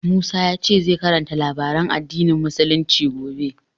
Musa ya ce zai karanta labaran addinin Musulunci gobe.